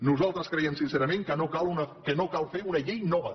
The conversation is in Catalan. nosaltres creiem sincerament que no cal fer una llei nova